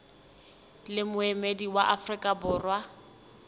le moemedi wa afrika borwa